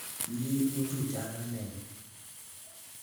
Inye ii u tupchenyu ak kamenyu